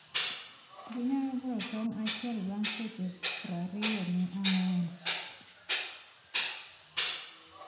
Ginyalo golo tong' achiel bang' seche prariyo ni ang`wen.